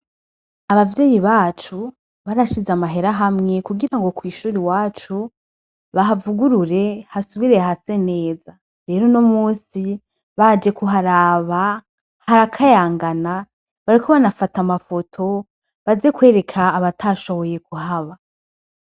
Abavyeyi bacu barashizeho amahera hamwe kugira kw'ishure iwacu bahavugurure hasubire hase neza, rero uno musi baje kuharaba harakayangana, bariko bafata amafoto baze kwereka abatashoboye kuhaba.